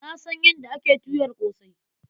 Na san yadda ake tuyar ƙosai.